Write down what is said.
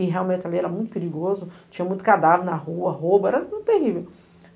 E realmente ali era muito perigoso, tinha muito cadáver na rua, roubo, era terrível.